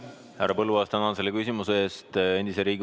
Härra Põlluaas, tänan selle küsimuse eest!